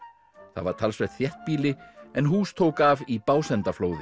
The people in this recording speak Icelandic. það var talsvert þéttbýli en hús tók af í